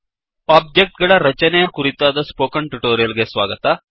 object ಗಳ ರಚನೆಯ ಕುರಿತಾದ ಸ್ಪೋಕನ್ ಟ್ಯುಟೋರಿಯಲ್ ಗೆ ಸ್ವಾಗತ